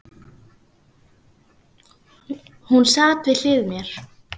Hún sat við hlið mér.